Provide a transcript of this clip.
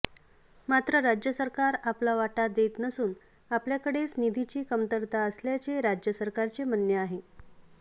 मात्र राज्य सरकार आपला वाटा देत नसून आपल्याकडेच निधीची कमतरता असल्याचे राज्य सरकारचे म्हणणे आहे